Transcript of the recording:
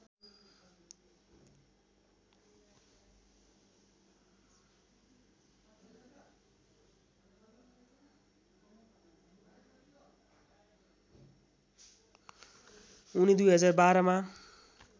उनी २०१२ मा